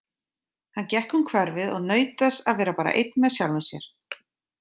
Hann gekk um hverfið og naut þess að vera bara einn með sjálfum sér.